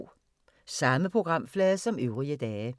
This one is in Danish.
Samme programflade som øvrige dage